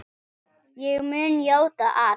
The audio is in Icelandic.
Ég mun játa allt.